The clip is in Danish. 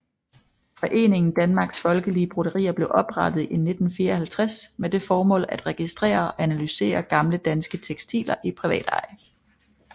Foreningen Danmarks Folkelige Broderier blev oprettet i 1954 med det formål at registrere og analysere gamle danske tekstiler i privateje